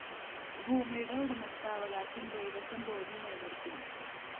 ഭൂമിയുടെ ഉടമസ്ഥതാവകാശം ദേവസ്വം ബോര്‍ഡില്‍ നിലനിര്‍ത്തും